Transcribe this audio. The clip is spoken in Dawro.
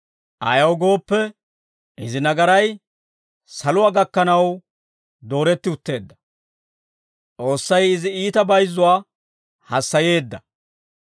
Ayaw gooppe, izi nagaray, saluwaa gakkanaw dooretti utteedda. S'oossay izi iita bayizzuwaa, hassayeedda.